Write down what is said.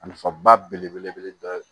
A nafa ba belebele dɔ ye